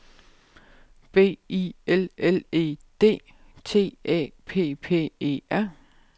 B I L L E D T Æ P P E R